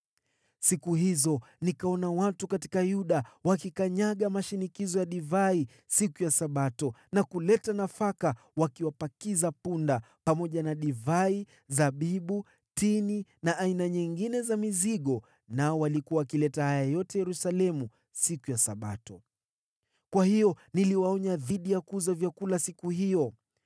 Siku hizo nikaona watu katika Yuda wakikanyaga mashinikizo ya divai siku ya Sabato na kuleta nafaka wakiwapakiza punda, pamoja na divai, zabibu, tini na aina nyingine za mizigo. Nao walikuwa wakileta haya yote Yerusalemu siku ya Sabato. Kwa hiyo niliwaonya dhidi ya kuuza vyakula siku hiyo.